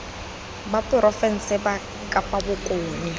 ba porofense ba kapa bokone